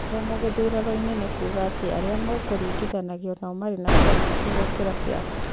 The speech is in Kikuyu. kũremwo gĩthurano-inĩ nĩ kuuga atĩ arĩa mũkũringithanagia nao marĩ na kura nyingĩ gũkĩra ciaku